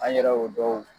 An yɛrɛ y'o dɔw